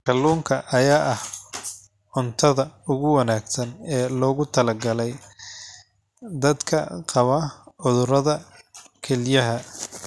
Kalluunka ayaa ah cuntada ugu wanaagsan ee loogu talagalay dadka qaba cudurrada kelyaha.